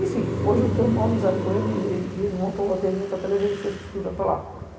Enfim, hoje eu tenho uma amizade com ele e ele montou o loteamento até levar a infraestrutura para lá.